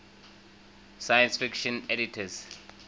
science fiction editors